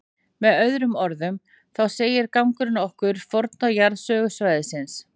Með öðrum orðum, þá segir gangurinn okkur forna jarðsögu svæðisins.